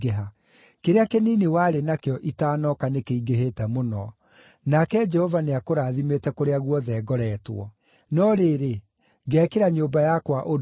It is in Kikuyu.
Kĩrĩa kĩnini warĩ nakĩo itaanoka nĩkĩingĩhĩte mũno, nake Jehova nĩakũrathimĩte kũrĩa guothe ngoretwo. No rĩrĩ, ngeekĩra nyũmba yakwa ũndũ rĩ?”